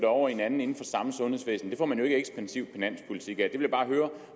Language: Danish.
over i en anden inden for samme sundhedsvæsen det får man jo ikke ekspansiv finanspolitik jeg bare høre